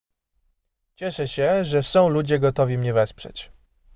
cieszę się że są ludzie gotowi mnie wesprzeć